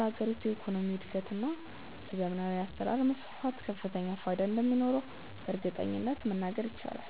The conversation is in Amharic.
ለሀገሪቱ የኢኮኖሚ እድገት እና ለዘመናዊ አሰራር መስፋፋት ከፍተኛ ፋይዳ እንደሚኖረውም በእርግጠኝነት መናገር ይቻላል።